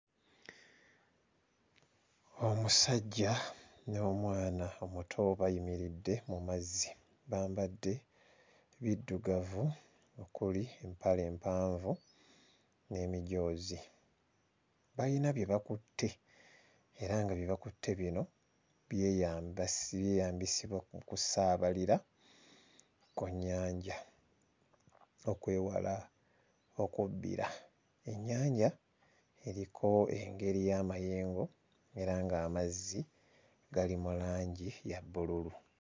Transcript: Omusajja n'omwana omuto bayimiridde mu mazzi bambadde biddugavu, okuli empale empanvu n'emijoozi. Balina bye bakutte era nga bye bakutte bino byeybisibwa ku lusaabalira ku nnyanja okwewala okubbira. Ennyanja eriko engeri y'amayengo era ng'amazzi gali mu langi eya bbululu.